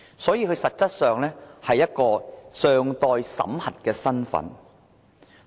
所以，他們實質上是一個尚待審核的身份。